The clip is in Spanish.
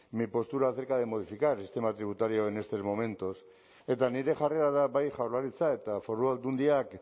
mi postura acerca de modificar el sistema tributario en estos momentos eta nire jarrera da bai jaurlaritza eta foru aldundiak